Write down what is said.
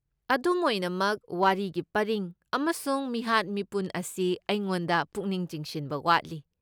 ꯑꯗꯨꯝ ꯑꯣꯏꯅꯃꯛ, ꯋꯥꯔꯤꯒꯤ ꯄꯔꯤꯡ ꯑꯃꯁꯨꯡ ꯃꯤꯍꯥꯠ ꯃꯤꯄꯨꯟ ꯑꯁꯤ ꯑꯩꯉꯣꯟꯗ ꯄꯨꯛꯅꯤꯡ ꯆꯤꯡꯁꯤꯟꯕ ꯋꯥꯠꯂꯤ꯫